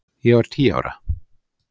Ég var tíu ára.